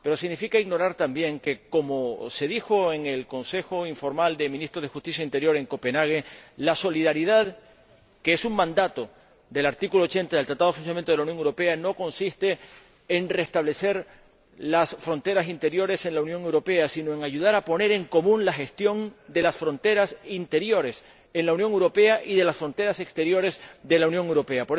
y significa asimismo ignorar que, como se dijo en el Consejo informal de Ministros de Justicia e Interior en Copenhague, la solidaridad, que es un mandato del artículo 80 del Tratado de Funcionamiento de la Unión Europea no consiste en restablecer las fronteras interiores en la Unión Europea sino en ayudar a poner en común la gestión de las fronteras interiores en la Unión Europea y de las fronteras exteriores de la Unión Europea.